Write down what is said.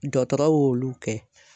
Dɔtɔrɔ y'olu kɛ.